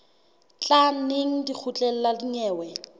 tla neng lekgotleng la dinyewe